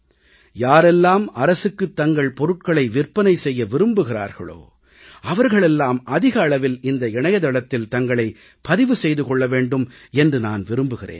யாரெல்லாம் அரசுக்குத் தங்கள் பொருட்களை விற்பனை செய்ய விரும்புகிறார்களோ அவர்கள் எல்லாம் அதிக அளவில் இந்த இணையதளத்தில் தங்களைப் பதிவு செய்து கொள்ள வேண்டும் என்று நான் விரும்புகிறேன்